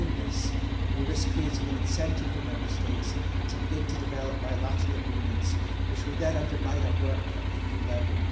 By doing this we risk creating an incentive for Member States to begin to develop bilateral agreements which will then undermine our work at EU level.